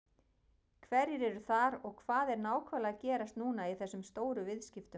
Hverjir eru þar og hvað er nákvæmlega að gerast núna í þessum stóru viðskiptum?